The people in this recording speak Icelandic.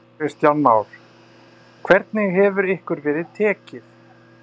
Kristján Már: Hvernig hefur ykkur verið tekið?